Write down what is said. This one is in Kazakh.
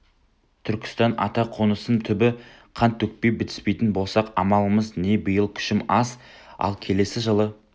түркістан ата қонысым түбі қан төкпей бітіспейтін болсақ амалымыз не биыл күшім аз ал келесі жылы